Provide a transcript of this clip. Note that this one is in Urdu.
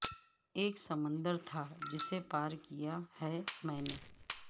اک سمندر تھا جسے پار کیا ہے میں نے